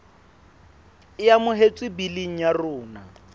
e amohetswe biling ya rona